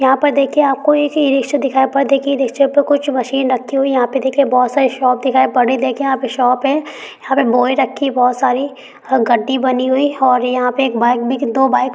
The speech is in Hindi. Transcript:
यहाँ पर देखिए आपको एक इ-रिक्शा दिखाई पर देखिए इ-रिक्शे पे कुछ मशीन रखी हुई। यहाँ पर देखिए बहुत सारे शाप दिखाई पर रही है। देखिए यहाँ पे शाप ह । यहाँ पे बोई रखी बहुत सारी गाडी बनी हुई है और यहाँ पे एक बाइक बिक दो बाइक --